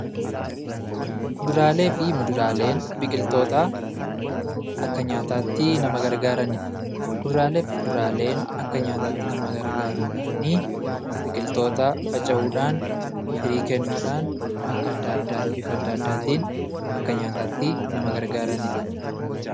Kuduraalee fi fuduraaleen biqiltoota akka nyaataatti gargaaranii dha. Kuduraaleen biqiltoota akka nyaataatti nama gargaraaniidha. Isaanis biqiltoota faca'uudhaan firii kennuudhaan akka addaa addaatti; bifa addaa addaatiin nama gargaaranii dha.